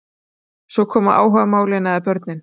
Svo koma áhugamálin eða börnin.